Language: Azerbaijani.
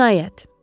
Cinayət.